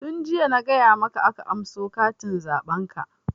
Tun jiya na gaya maka aka anso katin zaɓen ka!